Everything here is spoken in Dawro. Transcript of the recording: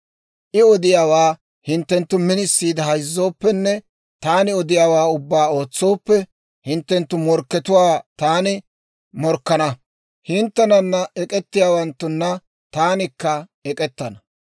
I odiyaawaa hinttenttu minisiide hayzzooppenne taani odiyaawaa ubbaa ootsooppe, hinttenttu morkkatuwaa taani morkkana; hinttenana ek'ettiyaawanttuna taanikka ek'k'ettana.